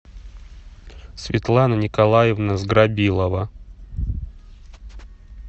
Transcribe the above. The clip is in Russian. светлана николаевна сграбилова